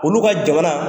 Olu ka jamana